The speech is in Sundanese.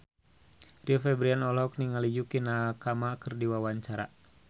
Rio Febrian olohok ningali Yukie Nakama keur diwawancara